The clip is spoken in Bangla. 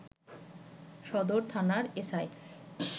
সদর থানার এসআই